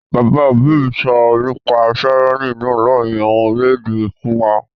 Bàbá òbí mi sọ nípa tyranny náà láàrin àwọn orílẹ̀-èdè fún wa